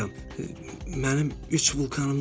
Mənim üç vulkanım da var.